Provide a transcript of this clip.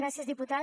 gràcies diputada